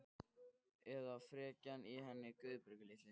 Eða frekjan í henni Guðbjörgu litlu.